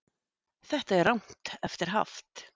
Þetta er rangt eftir haft